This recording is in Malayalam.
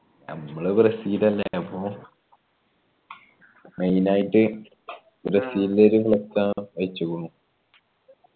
നമ്മൾ ബ്രസീൽ അല്ലെ അപ്പൊ main ആയിട്ട് ബ്രസീലിന്റെ ഒരു flux ആണ് വെച്ചുക്കുണു